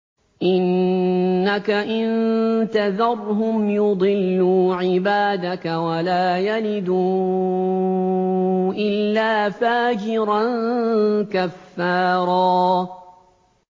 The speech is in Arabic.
إِنَّكَ إِن تَذَرْهُمْ يُضِلُّوا عِبَادَكَ وَلَا يَلِدُوا إِلَّا فَاجِرًا كَفَّارًا